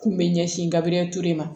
K'u bɛ ɲɛsin n gabriel ture ma